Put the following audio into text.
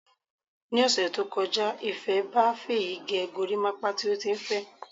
Ni ọ̀sẹ̀ tó kọjá, Ìfé ba Fèyí gẹ gorímápá tí ó tí n fẹ.